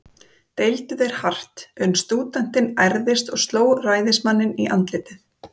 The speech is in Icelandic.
Deildu þeir hart, uns stúdentinn ærðist og sló ræðismanninn í andlitið.